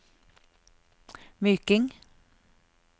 Myking